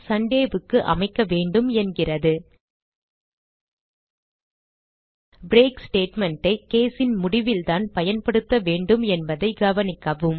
Sunday க்கு அமைக்க வேண்டும் என்கிறது பிரேக் statement ஐ case ன் முடிவில்தான் பயன்படுத்த வேண்டும் என்பதை கவனிக்கவும்